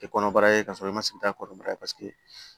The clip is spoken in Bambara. Kɔnɔbara ye kasɔrɔ i ma sigi a kɔrɔbaya paseke